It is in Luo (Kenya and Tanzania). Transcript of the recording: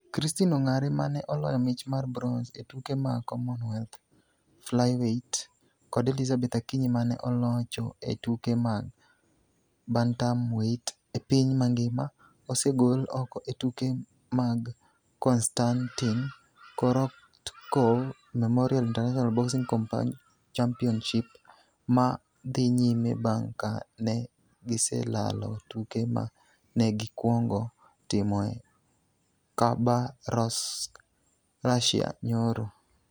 Christine Ongare ma ne oloyo mich mar bronze e tuke mag Commonwealth flyweight kod Elizabeth Akinyi ma ne olocho e tuke mag bantamweight e piny mangima, osegol oko e tuke mag Konstantin Korotkov Memorial International Boxing Championships ma dhi nyime bang' ka ne giselalo tuke ma ne gikwongo timo e Khabarovsk, Russia, nyoro.